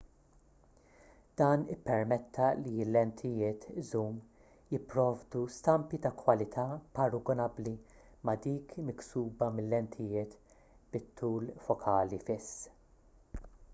dan ippermetta li l-lentijiet żum jipprovdu stampi ta' kwalità paragunabbli ma' dik miksuba mil-lentijiet bit-tul fokali fiss